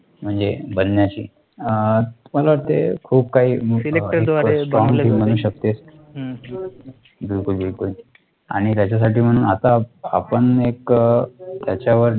म्हणजे बनण्याची मला वाटते, खूप काही बिलकुल बिलकुल आणि त्याच्यासाठी म्हणून आता आपण एक त्याच्यावर